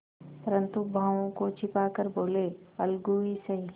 परंतु भावों को छिपा कर बोलेअलगू ही सही